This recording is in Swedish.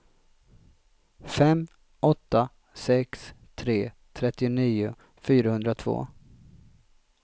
fem åtta sex tre trettionio fyrahundratvå